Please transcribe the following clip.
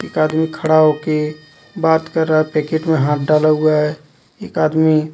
एक आदमी खड़ा होके बात कर रहा हे पैकेट मे हाथ डाला हुआ हे एक आदमी--